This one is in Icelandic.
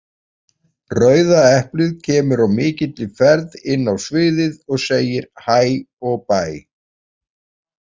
Rauða eplið kemur á mikilli ferð inn á sviðið, og segir HÆ og BÆ!